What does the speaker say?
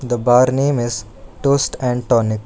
The bar name is toast and tonic.